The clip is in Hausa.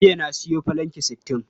Jiya na sayo filanki sittin.